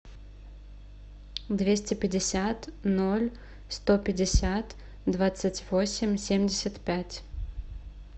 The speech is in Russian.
двести пятьдесят ноль сто пятьдесят двадцать восемь семьдесят пять